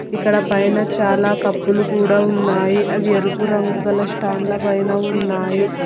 ఇక్కడ పైన చాలా కప్పులు కూడా ఉన్నాయి అవి ఎరుపు రంగు గల స్టాండ్ ల పైన ఉన్నాయి.